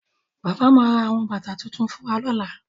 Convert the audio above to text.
Bàbá ma ra àwọn bàtà tuntun fún wa lọ́la